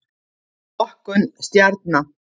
Flokkun stjarna.